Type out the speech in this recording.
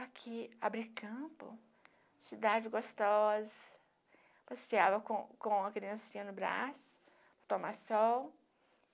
Aqui, Abricampo, cidade gostosa, passeava com com a criancinha no braço, tomar sol.